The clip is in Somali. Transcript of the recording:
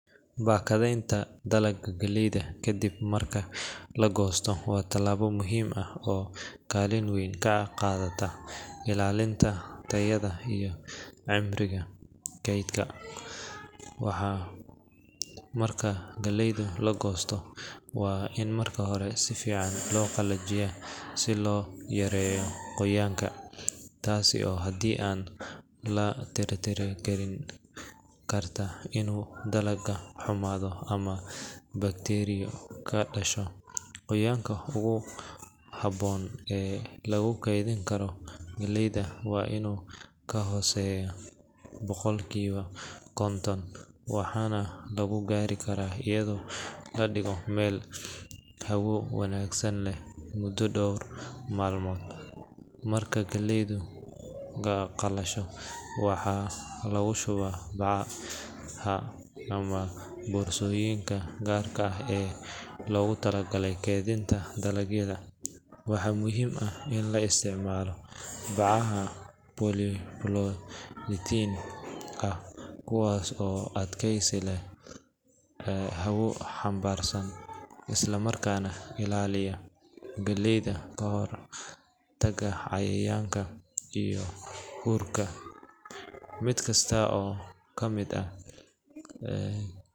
Bakadeenta dalaga, waa tilaabo muhiim ah, waxaa marka galeyda la goosto waa in si fican loo qalajiyo, taas oo keeni karto in dalaga xumado, waxaana lagu gaari karaa ayado ladigo meel hawo wanagsan leh, markaa qalasho waxaa kagu shubaa Baca, kuwaas oo adkeysi leh, isla markaana ilaaliyo galeyda, mid kasto oo kamid ah.